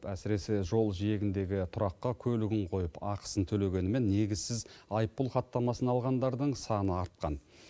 әсіресе жол жиегіндегі тұраққа көлігін қойып ақысын төлегенімен негізсіз айыппұл хаттамасын алғандардың саны артқан